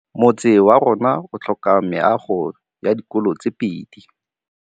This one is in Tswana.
Motse warona o tlhoka meago ya dikolô tse pedi.